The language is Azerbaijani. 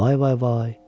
Vay vay vay!